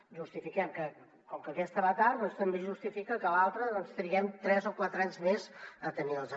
justifiquem que com que aquesta va tard doncs també es justifica que l’altra triguem tres o quatre anys més a tenir la